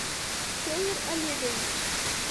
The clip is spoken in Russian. федор олегович